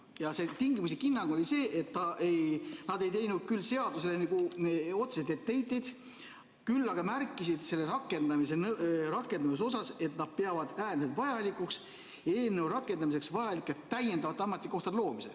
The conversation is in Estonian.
Ja see tingimuslik hinnang oli see, et nad ei teinud küll seaduseelnõule otseselt etteheiteid, küll aga märkisid selle rakendamise kohta, et nad peavad äärmiselt vajalikuks eelnõu rakendamiseks vajalike täiendavate ametikohtade loomist.